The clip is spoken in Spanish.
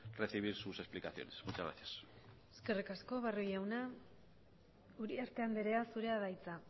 recibir sus explicaciones muchas gracias eskerrik asko barrio jauna uriarte andrea zurea da hitza